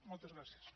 moltes gràcies